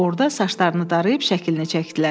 Orada saçlarını darayıb şəklini çəkdilər.